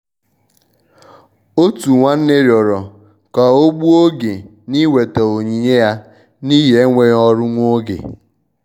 òtù nwánnè rịọrọ ká ọ́ gbùo oge na-íwetà onyinye ya n'ihi enweghị ọrụ nwa oge.